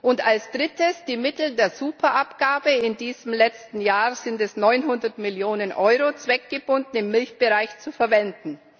und als Drittes, die Mittel der Superabgabe in diesem letzten Jahr sind es 900 Millionen Euro zweckgebunden im Milchbereich zu verwenden.